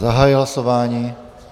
Zahajuji hlasování.